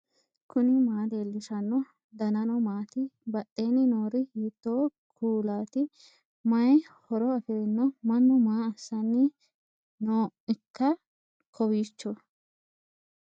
knuni maa leellishanno ? danano maati ? badheenni noori hiitto kuulaati ? mayi horo afirino ? mannu maa assanni nooikka kowiicho